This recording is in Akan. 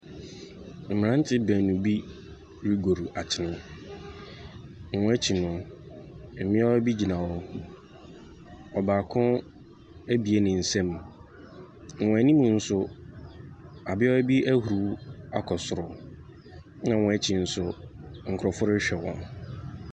Mmerantse beenu bi rogor akyen, wɔn ekyir no, mbea bi gyina hɔ, ɔbaako abue ne nsa mu. Wɔn anim nso, ɔbea bi ahuruw akɔ soro, na wɔn akyi nso, nkorɔfo rehwɛ wɔn.